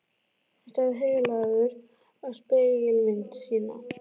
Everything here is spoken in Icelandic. Hann starði heillaður á spegilmynd sína.